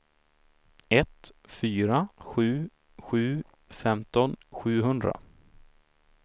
ett fyra sju sju femton sjuhundra